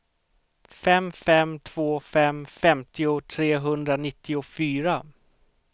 fem fem två fem femtio trehundranittiofyra